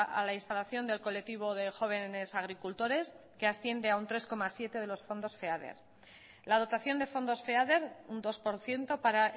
a la instalación del colectivo de jóvenes agricultores que asciende a un tres coma siete de los fondos feader la dotación de fondos feader un dos por ciento para